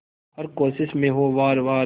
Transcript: हर कोशिश में हो वार वार